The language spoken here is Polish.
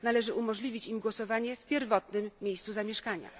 Należy umożliwić im głosowanie w pierwotnym miejscu zamieszkania.